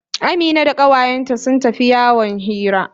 Amina da kawayenta sun tafi yawon hira.